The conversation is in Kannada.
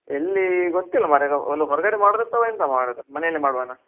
ಎಲ್ಲಿ ಗೊತ್ತಿಲ್ಲ ಮಾರಯಾ ಹೊರಗಡೆ ಮಾಡುದ ಅಥವಾ ಎಂತ ಮಾಡುದು ಮನೆಯಲ್ಲಿ ಮಾಡ್ವನಾ.